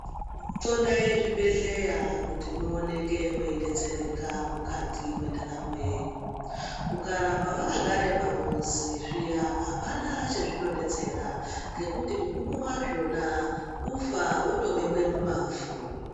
Xodai zvibhedhleya kuti muoneke mweidetsereka mukati mwendaramo yenyu. Ukaramba wakagare pamuzi zviya, hapana chezvinodetsera, ngekuti mugumo wazvona kufa wotobekwe mumavhu.